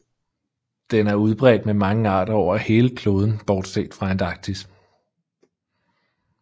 Den er udbredt med mange arter over hele kloden bortset fra Antarktis